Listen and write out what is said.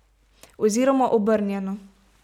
Oziroma obrnjeno.